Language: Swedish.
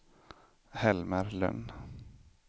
Helmer Lönn